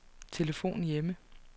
telefon hjemme